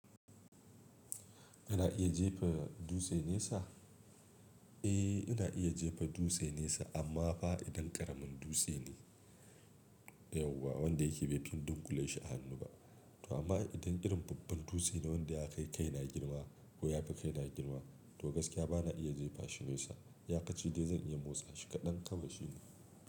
Ana iya jefa dutse nesa? Eh, ina iya jefa dutse nesa amma fa idan ƙaramin dutse ne. Yauwa wanda yake bai fi in dunƙule shi a hannu ba. To amma idan irin babban dutse ne wanda ya kai kaina girma ko ya fi kaina girma, to gaskiya bana iya jefa shi nesa. Iyakaci dai zan iya motsa shi kaɗan kawai shi ne.